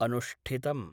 अनुष्ठितम्।